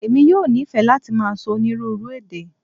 Emi yoo nifẹ lati màá sọ onírúurú èdè.